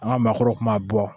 An ka maakɔrɔw kun b'a bɔ